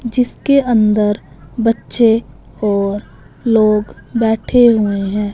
जिसके अंदर बच्चे और लोग बैठे हुए है।